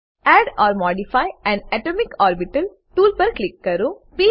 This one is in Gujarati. add or modify an atomic orbital tool પર ક્લિક કરો